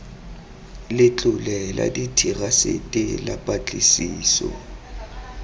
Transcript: letlole la therasete la patlisiso